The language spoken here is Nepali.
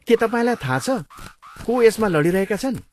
के तपाईँलाई थाहा छ को यसमा लडिरहेका छन्?